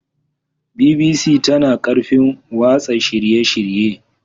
BBC tana da ƙarfin watsa shirye-shirye.